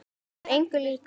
Hann var engum líkur.